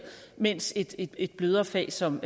mens et et blødere fag som